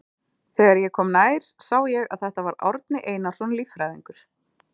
Þegar ég kom nær sá ég að þetta var Árni Einarsson líffræðingur.